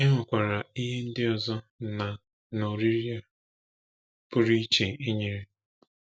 E nwekwara ihe ndị ọzọ na na oriri a pụrụ iche e nyere.